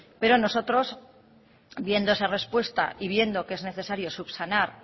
pero nosotros viendo esa respuesta y viendo que es necesario subsanar